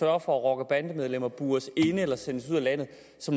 at rocker og bandemedlemmer bures inde eller sendes ud af landet